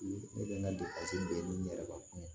Ne kɛlen ka depase bɛɛ ni ne yɛrɛ ka kuma